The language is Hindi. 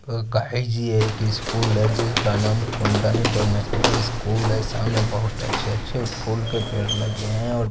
गाड़ी की है एक स्कूल जिसका नाम कुंदन इंटरनेशनल स्कूल है सामने बहुत अचे अचे फूल के पेड़ लगे हुवे है ।